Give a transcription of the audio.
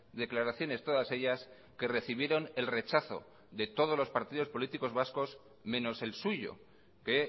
declaraciones todas ellas que recibieron el rechazo de todos los partidos políticos vascos menos el suyo que